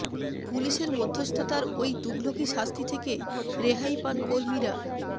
পুলিসের মধ্যস্থতার ওই তুঘলকি শাস্তি থেকে রেহাই পান কর্মীরা